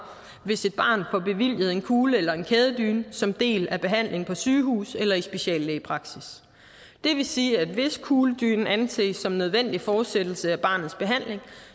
hvis et barn får bevilget en kugle eller en kædedyne som en del af behandlingen på sygehus eller i speciallægepraksis det vil sige at hvis kugledynen anses som en nødvendig fortsættelse af barnets behandling